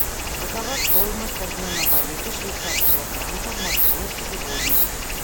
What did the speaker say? какова стоимость обмена валюты швейцарского франка в москве сегодня